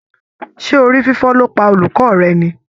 Ṣé orí fífọ́ ló pa olùkọ́ rẹ ni?